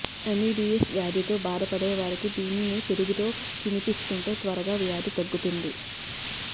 amoebiasis వ్యాధితో బాధపడే వారికి దీన్ని పెరుగుతో తినిపిస్తుంటే త్వరగా వ్యాధి తగ్గుతుంది